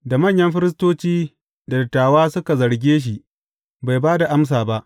Da manyan firistoci da dattawa suka zarge shi, bai ba da amsa ba.